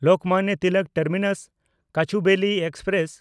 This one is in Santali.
ᱞᱳᱠᱢᱟᱱᱱᱚ ᱛᱤᱞᱚᱠ ᱴᱟᱨᱢᱤᱱᱟᱥ–ᱠᱚᱪᱩᱵᱮᱞᱤ ᱮᱠᱥᱯᱨᱮᱥ